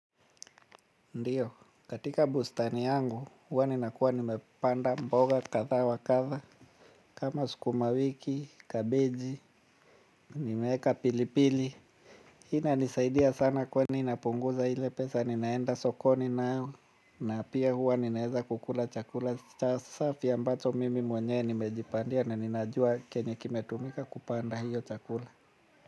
Ndiyo, katika bustani yangu, huwa ninakuwa nimepanda mboga kadhaa wa kadha, kama sukuma wiki, kabiji, nimeeka pilipili. Hii inanisaidia sana kwani napunguza ile pesa ninaenda sokoni nayo, na pia huwa ninaeza kukula chakula cha safi ambacho mimi mwenye nimejipandia na ninajua kenye kimetumika kupanda hiyo chakula.